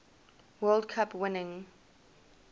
world cup winning